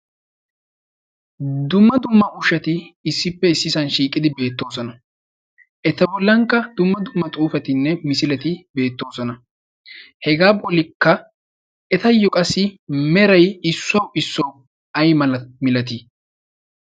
dumma dumma ushati issippe issisan shiiqidi beettoosona. eta bollankka dumma dumma xuufetinne misileti beettoosona. hegaa bolikka etayyo qassi merai issuwau issuwau ay a milatii?